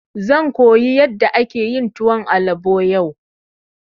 Zan koyi yadda ake yin tuwon albo yau.